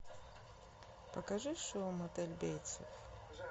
покажи шоу мотель бейтсов